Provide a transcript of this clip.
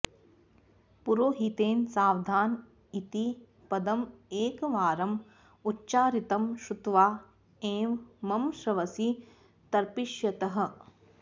पुरोहितेन सावधान इति पदम् एकवारम् उच्चारितं श्रुत्वा एव मम श्रवसी तर्पिष्यतः